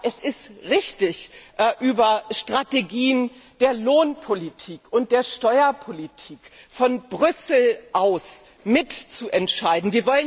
Es ist richtig, über Strategien der Lohn und der Steuerpolitik von Brüssel aus mitzuentscheiden.